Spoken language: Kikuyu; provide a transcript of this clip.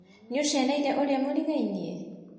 Nĩũcereíre ũrĩa mũrigainie?